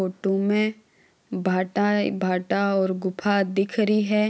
फोटू में भाटा है भाटा और गुफा दिख रही है।